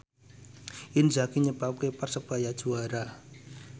Inzaghi nyebabke Persebaya juara